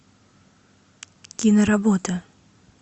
киноработа